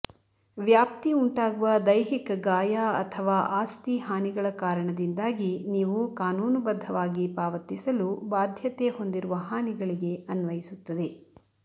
ವ್ಯಾಪ್ತಿ ಉಂಟಾಗುವ ದೈಹಿಕ ಗಾಯ ಅಥವಾ ಆಸ್ತಿ ಹಾನಿಗಳ ಕಾರಣದಿಂದಾಗಿ ನೀವು ಕಾನೂನುಬದ್ಧವಾಗಿ ಪಾವತಿಸಲು ಬಾಧ್ಯತೆ ಹೊಂದಿರುವ ಹಾನಿಗಳಿಗೆ ಅನ್ವಯಿಸುತ್ತದೆ